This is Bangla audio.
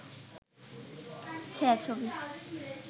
ছায়া-ছবি